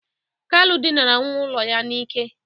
Kalu dịnara nwa ụlọ ya n'ike.